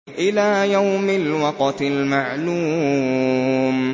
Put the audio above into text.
إِلَىٰ يَوْمِ الْوَقْتِ الْمَعْلُومِ